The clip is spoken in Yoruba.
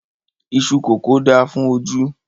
Iṣú kókò da fún ojú